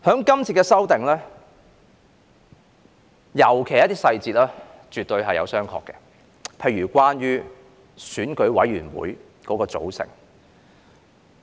這次修訂，尤其是一些細節，絕對是要商榷的，例如關於選委會的組成。